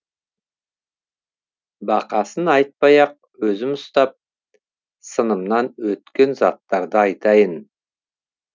басқасын айтпай ақ өзім ұстап сынымнан өткен заттарды айтайын